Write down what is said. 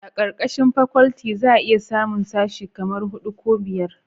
a karkashin fakwalti za a iya samun sashi kaman hudu ko biyar